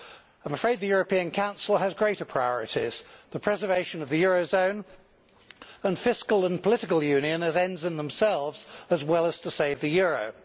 I am afraid the European Council has greater priorities to preserve the eurozone and fiscal and political union as ends in themselves, as well as to save the euro.